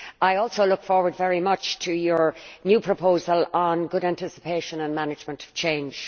I look forward very much to the new proposal on good anticipation and management of change.